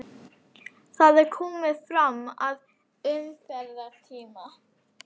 Það er komið fram að umferðartíma.